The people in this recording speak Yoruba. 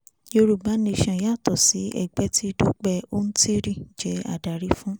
yorùbá nation yàtọ̀ sí ẹgbẹ́ tí dúpẹ́ oǹtírí jẹ́ adarí fún